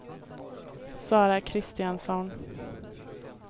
Sara Kristiansson